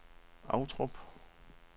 Ovtrup